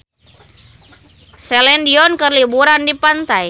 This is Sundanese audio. Celine Dion keur liburan di pantai